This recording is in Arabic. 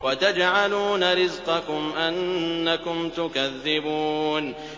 وَتَجْعَلُونَ رِزْقَكُمْ أَنَّكُمْ تُكَذِّبُونَ